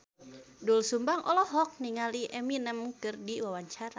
Doel Sumbang olohok ningali Eminem keur diwawancara